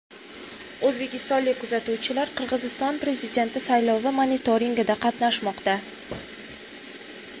O‘zbekistonlik kuzatuvchilar Qirg‘iziston prezidenti saylovi monitoringida qatnashmoqda.